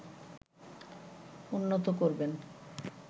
উন্নত করবেন